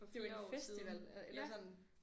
Det er jo en festival eller sådan